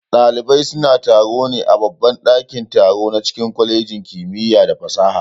Ɗalibai suna taro ne a babban ɗakin-taro na cikin kwalejin kimiya da fasaha.